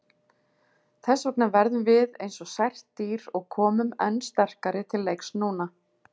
Þessvegna verðum við eins og sært dýr og komum enn sterkari til leiks núna.